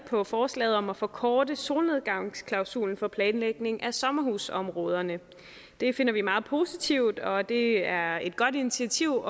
på forslaget om at forkorte solnedgangsklausulen for planlægning af sommerhusområderne det finder vi meget positivt og det er et godt initiativ